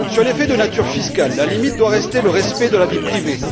Sur les faits de nature fiscale, la limite doit rester le respect de la vie privée.